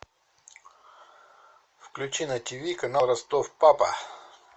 включи на тиви канал ростов папа